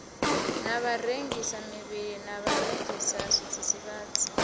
na vharengisamivhili na vharengisa zwidzidzivhadzi